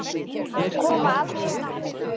Koma aldrei aftur.